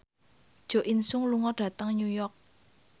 Jo In Sung lunga dhateng New York